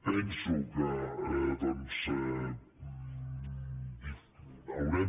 penso que doncs haurem